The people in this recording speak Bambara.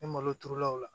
Ni malo turulaw la